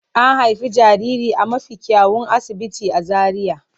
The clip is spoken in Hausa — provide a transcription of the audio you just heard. An haifi jaririn a mafi kyawun asibiti a Zaria.